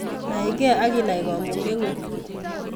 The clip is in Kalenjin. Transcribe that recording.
Nai keiaki ak kinai kamuget ngung